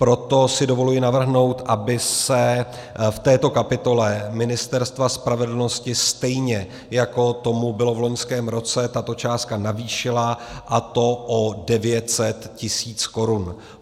Proto si dovoluji navrhnout, aby se v této kapitole Ministerstva spravedlnosti, stejně jako tomu bylo v loňském roce, tato částka navýšila, a to o 900 tis. korun.